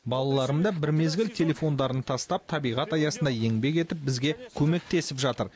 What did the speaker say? балаларым да бір мезгіл телефондарын тастап табиғат аясында еңбек етіп бізге көмектесіп жатыр